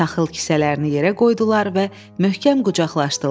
Taxıl kisələrini yerə qoydular və möhkəm qucaqlaşdılar.